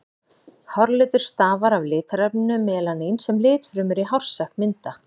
Hárlitur stafar af litarefninu melanín sem litfrumur í hársekk mynda.